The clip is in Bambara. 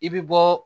I bɛ bɔ